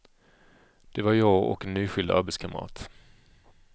Det var jag och en nyskild arbetskamrat.